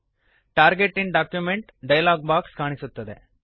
target in document dialog box ಕಾಣುತ್ತದೆ